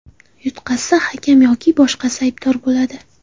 Yutqazsa hakam yoki boshqasi aybdor bo‘ladi.